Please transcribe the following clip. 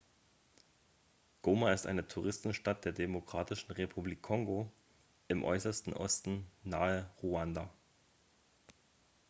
goma ist eine touristenstadt der demokratischen republik kongo im äußersten osten nahe ruanda